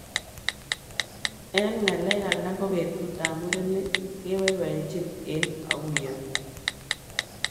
Eng ngalek alak ko betut ab murenik kebaibajin eng auyo.